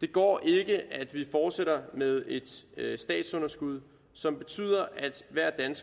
det går ikke at vi fortsætter med et statsunderskud som betyder